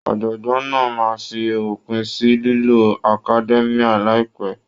Ọ̀jọ̀gbọ́n náà máa fi òpin sí lílo academia láìpẹ́.